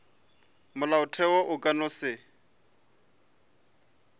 molaotheo o ka no se